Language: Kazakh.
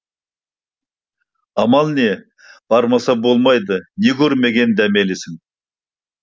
амал не бармаса болмайды не көрмеген дәмелісің